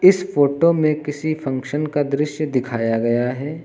इस फोटो में किसी फंक्शन का दृश्य दिखाया गया है।